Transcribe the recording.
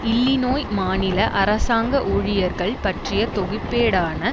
இல்லிநோய் மாநில அரசாங்க ஊழியர்கள் பற்றிய தொகுப்பேடான